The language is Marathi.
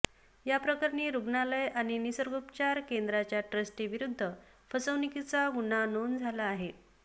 याप्रकरणी रुग्णालय आणि निसर्गोपचार केंद्राच्या ट्रस्टींविरुद्ध फसवणुकीचा गुन्हा नोंद झाला आहे